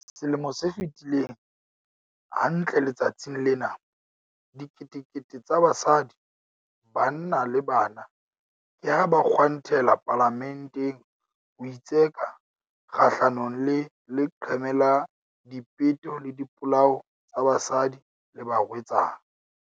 Selemo se fetileng, hantle letsatsing lena, diketekete tsa basadi, banna le bana ke ha ba kgwantela Palamenteng ho itseka kgahlanongle leqeme la dipeto le dipolao tsa basadi le barwetsana.